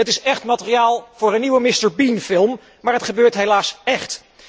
Het is materiaal voor een nieuwe Mr. Bean film, maar het gebeurt helaas echt!